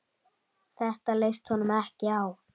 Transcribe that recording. Þetta leist honum ekki á.